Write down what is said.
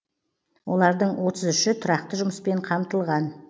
олардың отыз үші тұрақты жұмыспен қамтылған